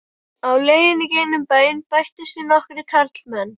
Á leiðinni í gegnum bæinn bættust við nokkrir karlmenn.